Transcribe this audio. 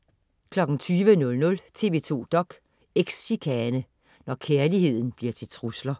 20.00 TV 2 dok.: Eks-chikane. Når kærligheden bliver til trusler